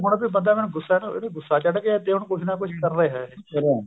ਹੁਣ ਬੰਦਾਂ ਮੈਨੂੰ ਗੁੱਸਾ ਚੜ ਗਿਆ ਤੇ ਕੁੱਝ ਨਾ ਕੁੱਝ ਕਰਦਾ ਏ ਕਰਾਂ